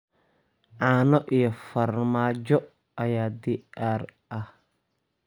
Caano iyo farmaajo ayaa diyaar ah.